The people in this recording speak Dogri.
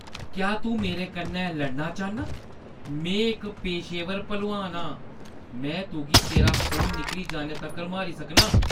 क्या तूं मेरे कन्नै लड़ना चाह्न्नां? में इक पेशेवर भलोआन आं ! में तुगी तेरा खून निकली जाने तक्कर मारी सकनां ।